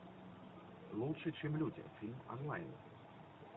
лучше чем люди фильм онлайн